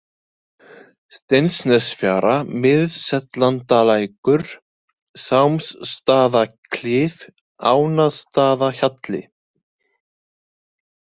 Steinsnesfjara, Miðsellandalækur, Sámsstaðaklif, Ánastaðahjalli